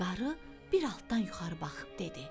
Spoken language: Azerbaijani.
Qarı bir altdan yuxarı baxıb dedi: